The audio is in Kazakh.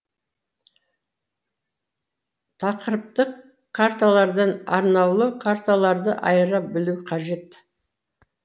тақырыптық карталардан арнаулы карталарды айыра білу қажет